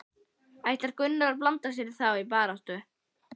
Ætlar Gunnar að blanda sér í þá baráttu?